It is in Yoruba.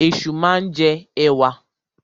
Ẹ̀ṣu máa ń jẹ ẹ̀wà.